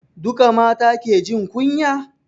Duka mata ke jin kunya?